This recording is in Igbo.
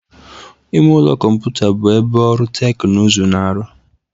Ime ụlọ kọmputa bụ ebe ọrụ teknụzụ na-arụ.